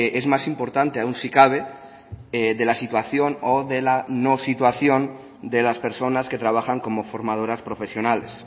es más importante aún si cabe de la situación o de la no situación de las personas que trabajan como formadoras profesionales